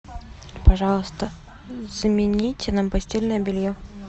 пожалуйста замените нам постельное белье